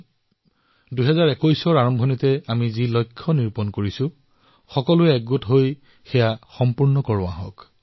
সেইবাবে ২০২১ চনৰ আৰম্ভণিতেই যি লক্ষ্যৰ সৈতে আমি কৈছো সেই সংকল্প আমি ঐক্যৱদ্ধভাৱে পূৰণ কৰিব লাগিব